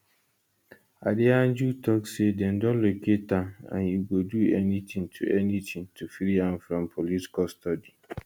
adeyanju tok say dem don locate am and e go do anytin to anytin to free am from police custody